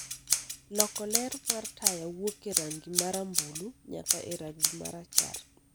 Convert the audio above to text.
loko ler mar taya wuok e rangi ma rambulu nyaka e rangi ma rachar